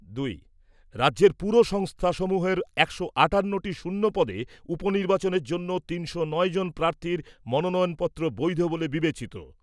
দুই। রাজ্যের পুর সংস্থা সমূহের একশো আটান্নটি শূন্য পদে উপনির্বাচনের জন্য তিনশো নয় জন প্রার্থীর মনোনয়নপত্র বৈধ বলে বিবেচিত।